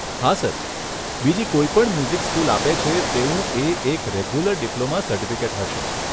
હા સર બીજી કોઈપણ મ્યુઝિક સ્કૂલ આપે છે તેવું એ એક રેગ્યુલર ડિપ્લોમા સર્ટિફિકેટ હશે.